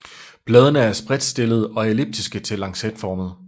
Bladene er spredtstillede og elliptiske til lancetformede